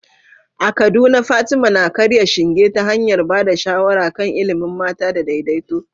A Kaduna, Fatima na karya shinge ta hanyar ba da shawara kan ilimin mata da daidaito.